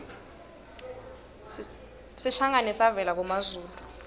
sishangane savela kumazulu